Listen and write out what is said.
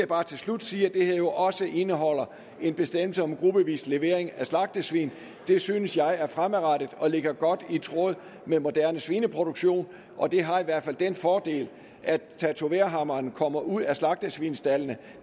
bare til slut sige at det her jo også indeholder en bestemmelse om gruppevis levering af slagtesvin det synes jeg er fremadrettet og ligger godt i tråd med moderne svineproduktion og det har i hvert fald den fordel at tatoverhammeren kommer ud af slagtesvinsstaldene